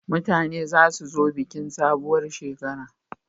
Mutane za su zo bikin sabuwar shekara